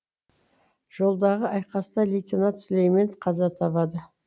жолдағы айқаста лейтенант сүлеймен қаза табады